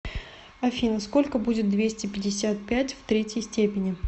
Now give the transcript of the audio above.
афина сколько будет двести пятьдесят пять в третьей степени